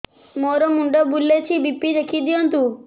ମୋର ମୁଣ୍ଡ ବୁଲେଛି ବି.ପି ଦେଖି ଦିଅନ୍ତୁ